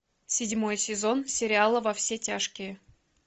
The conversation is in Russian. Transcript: седьмой сезон сериала во все тяжкие